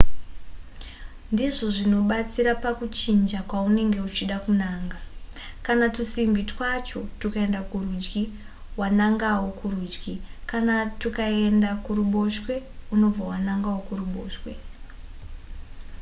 ndizvo zvinobatsira pakuchinja kwaunenge uchida kunanga kana tusimbi twacho tukaenda kurudyi unobva wanangawo kurudyi kana tukaenda kuruboshwe unobva wanangawo kuruboshwe